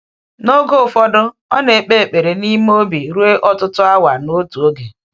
N’oge ụfọdụ, ọ na-ekpe ekpere n’ime obi ruo ọtụtụ awa n’otu oge.